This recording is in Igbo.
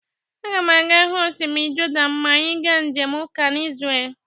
Aga m aga-hu osimiri Jọdan ma anyị ga njem ụka n'zrel